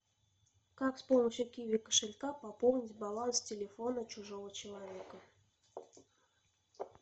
как с помощью киви кошелька пополнить баланс телефона чужого человека